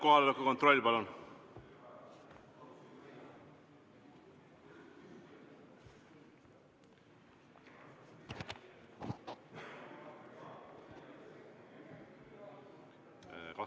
Kohaloleku kontroll, palun!